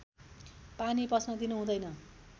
पानी पस्न दिनु हुँदैन